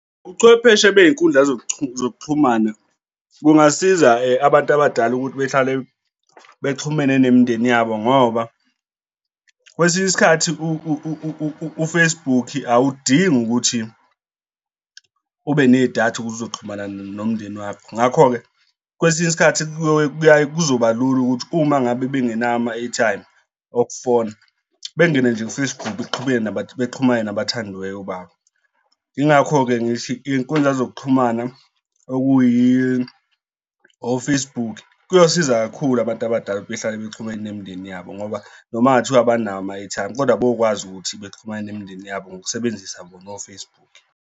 Ubuchwepheshe bey'nkundla zokuxhumana kungasiza abantu abadala ukuthi behlale bexhumene nemindeni yabo ngoba kwesinye isikhathi u-Facebook awudingi ukuthi ube nedatha ukuze uzoxhumana nomndeni wakho. Ngakho-ke kwesinye isikhathi kuyaye kuzoba lula ukuthi uma ngabe bengenawo ama-airtime okufona bengena nje u-Facebook, kuqhubeke bexhumana nabathandiweyo babo. Yingakho-ke ngithi iy'nkundla zokuxhumana okuyi, o-Facebook kuyosiza kakhulu abantu abadala ukuthi bahlale bexhumene nemindeni yabo ngoba noma kungathiwa abanawo ama-airtime kodwa bayokwazi ukuthi baxhumane nemindeni yabo ngokusebenzisa bona o-Facebook.